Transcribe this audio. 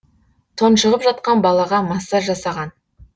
тұншығып жатқан балаға массаж жасаған